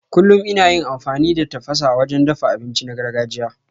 Kullum ina yin amfani da tafasa wajen dafa abinci na gargajiya.